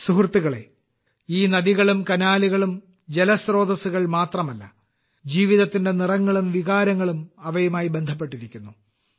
സുഹൃത്തുക്കളേ ഈ നദികളും കനാലുകളും തടാകങ്ങളും ജലസ്രോതസ്സുകൾ മാത്രമല്ല ജീവിതത്തിന്റെ നിറങ്ങളും വികാരങ്ങളും അവയുമായി ബന്ധപ്പെട്ടിരിക്കുന്നു